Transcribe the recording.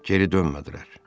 Geri dönmədilər.